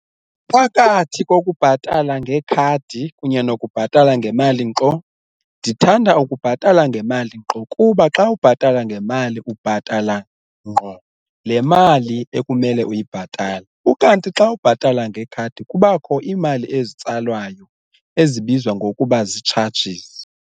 Phakathi kokubhatala ngekhadi kunye nokubhatala ngemali nqo, ndithanda ukubhatala ngemali nqo kuba xa ubhatala ngemali ubhatala ngqo le mali ekumele uyibhatale ukanti xa ubhatala ngekhadi kubakho iimali ezitsalwayo ezibizwa ngokuba zii-charges.